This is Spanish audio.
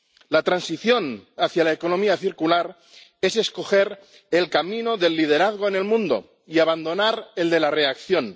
La transición hacia la economía circular es escoger el camino del liderazgo en el mundo y abandonar el de la reacción.